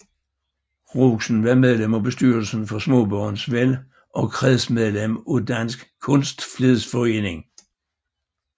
Rosen var medlem af bestyrelsen for Smaabørns Vel og kredsmedlem af Dansk Kunstflidsforening